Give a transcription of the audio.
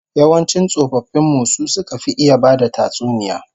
Yawancin tsofaffin mu su suka fi iya bada tatsuniya